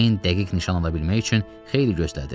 Ceyn dəqiq nişan ala bilmək üçün xeyli gözlədi.